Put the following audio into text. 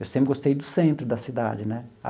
Eu sempre gostei do centro da cidade, né?